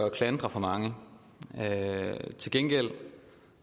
at klandre for mange til gengæld